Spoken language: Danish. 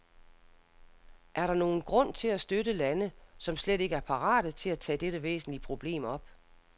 Er der nogen grund til at støtte lande, som slet ikke er parate til at tage dette væsentlige problem op?